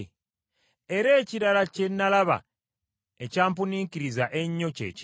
Era ekirala kye nalaba ekyampuniikiriza ennyo kye kino: